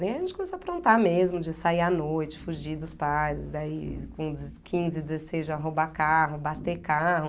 Aí a gente começou a aprontar mesmo, de sair à noite, fugir dos pais, daí com quinze, dezesseis já roubar carro, bater carro.